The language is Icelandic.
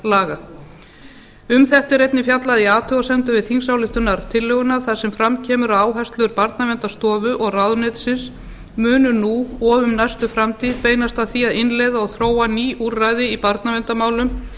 barnaverndarlaga um þetta er einnig fjallað í athugasemdum við þingsályktunartillöguna þar sem fram kemur að áherslur barnaverndarstofu og ráðuneytisins muni nú og um næstu framtíð beinast að því að innleiða og þróa ný úrræði í barnaverndarmálum